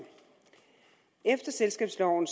efter selskabsloven